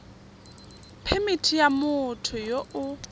phemithi ya motho yo o